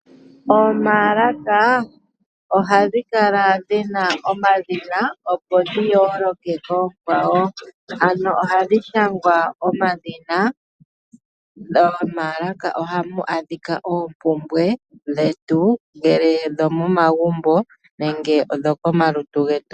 Omaalaka ohadhi kala dhina omadhina opo dhi yooloke koonkwawo, ano ohadhi shangwa omadhina. Momaalaka ohamu adhika oompumbwe dhetu ongele odho momagumbo nenge odho komalutu getu.